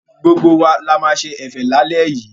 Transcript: Gbogbo wa la máa ṣe ẹ̀fẹ̀ lálẹ́ yìí.